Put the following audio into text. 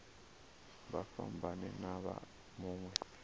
vha fhambane na vha mawe